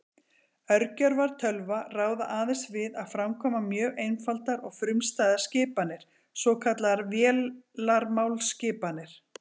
Örgjörvar tölva ráða aðeins við að framkvæma mjög einfaldar og frumstæðar skipanir, svokallaðar vélarmálsskipanir.